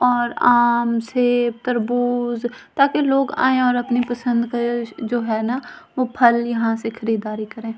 और आम से तरबूज ताकी लोंग आए और अपनी पसंद के जो है ना वो फल यहाँ से खरीदारी करे ।